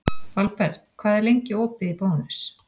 Valberg, hvað er lengi opið í Bónus?